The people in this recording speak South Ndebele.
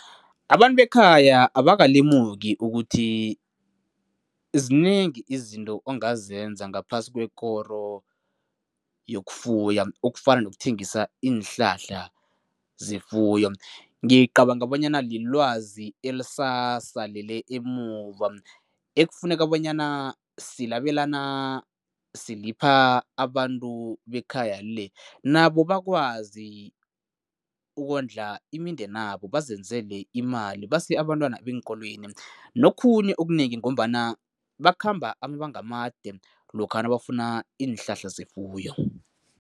Abantu bekhaya abakalemuki ukuthi zinengi izinto ongazenza ngaphasi kwekoro yokufuya, okufana nokuthengisa iinhlahla zefuyo. Ngicabanga bonyana lilwazi elisasalele emuva, ukufuneka bonyana silabelana, silipha abantu bekhaya le, nabo bakwazi ukondla imindenabo bazenzile imali, base abantwana eenkolweni nokhunye okunengi ngombana bakhamba amabanga amade lokha nabafuna iinhlahla zefuyo.